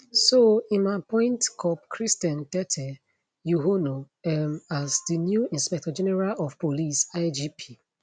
so im appoint cop christian tetteh yohuno um as di new inspector general of police igp